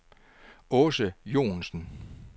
Aase Johnsen